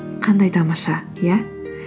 қандай тамаша иә